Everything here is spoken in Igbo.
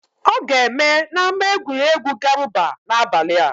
Ọ ga-eme n'ámá egwuregwu Garuba n'abalị a.